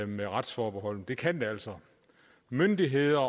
med retsforbeholdet men det kan det altså myndigheder